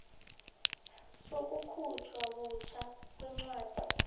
sokukhutjhwa butjha kwencwadi